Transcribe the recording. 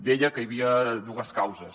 deia que hi havia dues causes